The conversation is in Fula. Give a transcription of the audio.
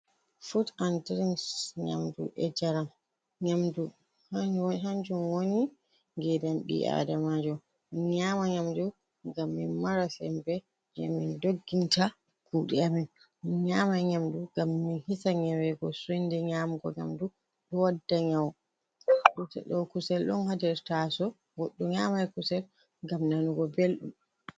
Fuut an dirins nyamdu e jaram, nƴaamdu kanjum kanjum wooni ngedam ɓii adamajo, men nyaama nyaamdu ngam men mara sembe je men dogginta kuuɗe amen, men nyaama nyaamdu ngam men hiisa nyaaweego soinde nyaamugo nyamdu ɗo wadda nyawu, ɗo kusel on ha nder tasowo goɗɗo nyaman kusel ngam nanugo belɗum.